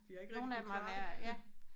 De har ikke rigtig kunnet klare det